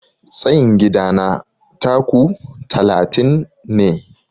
Tsayin gidana 'taku' talatin ne.